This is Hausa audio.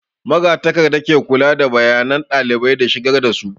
Magatakarda ke kula da bayanan ɗalibai da shigar da su